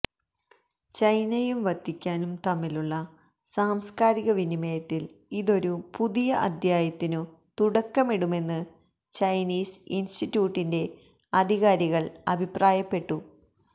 ചൈനയും വത്തിക്കാനും തമ്മിലുള്ള സാംസ്കാരിക വിനിമയത്തില് ഇതൊരു പുതിയ അദ്ധ്യായത്തിനു തുടക്കമിടുമെന്ന് ചൈനീസ് ഇന്സ്റ്റിറ്റ്യൂട്ടിന്റെ അധികാരികള് അഭിപ്രായപ്പെട്ടു